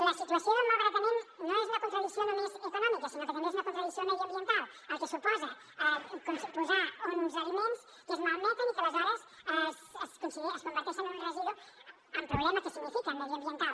la situació del malbaratament no és una contradicció només econòmica sinó que també és una contradicció mediambiental pel que suposa posar uns aliments que es malmeten i que aleshores es converteixen en un residu amb el problema que significa mediambiental